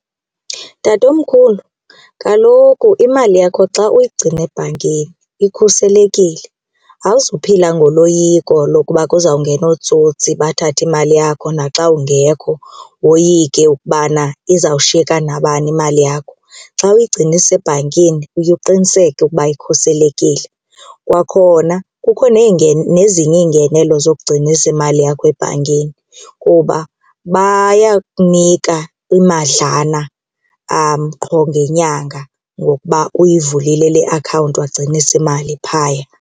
Tatomkhulu, kaloku imali yakho xa uyigcina ebhankini ikhuselekile awuzuphila ngoloyiko lokuba kuzawungena ootsotsi bathathe imali yakho naxa ungekho woyike ukubana izawushiyeka nabani imali yakho, xa uyigcina isebhankini uye uqiniseke ukuba ikhuselekile. Kwakhona kukho nezinye iingenelo zokugcinisa imali yakho ebhankini kuba bayakunika imadlana qho ngenyanga ngokuba uyivulile le akhawunti wagcinisa imali phaya.